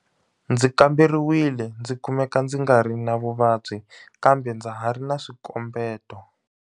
Ndzi kamberiwile ndzi kumeka ndzi ngari na vuvabyi kambe ndza ha ri na swikombeto.